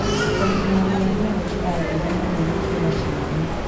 kũmunya riya nĩyo njĩra njega mũno gũkĩra ciothe